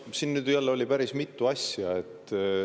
Siin oli jälle päris mitu asja.